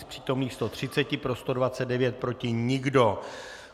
Z přítomných 130 pro 129, proti nikdo.